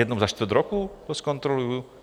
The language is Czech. Jednou za čtvrt roku to zkontroluju?